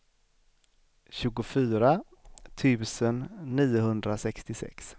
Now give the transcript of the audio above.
tjugofyra tusen niohundrasextiosex